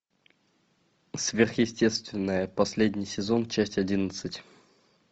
сверхъестественное последний сезон часть одиннадцать